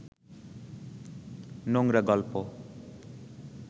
নোংরা গল্প